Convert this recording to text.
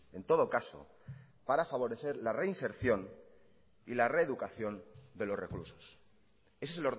en todo caso para favorecer la reinserción y la reeducación de los reclusos ese es